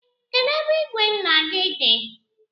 Kedụ ebe ìgwè nna gị dị?